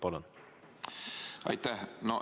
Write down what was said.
Palun!